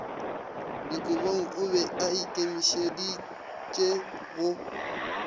dikobong o be aikemišeditše go